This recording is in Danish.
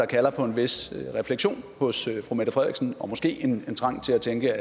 kalder på en vis refleksion hos fru mette frederiksen og måske en trang til at tænke